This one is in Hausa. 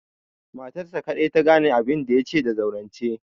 Matarsa kaɗai ta gane abinda ya ce da zaurance.